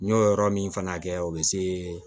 N y'o yɔrɔ min fana kɛ o bɛ se